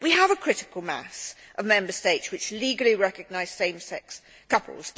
We have a critical mass of Member States which legally recognise same sex couples.